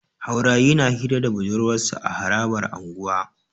Haurayi na Hira da budurwarsa a harabar unguwa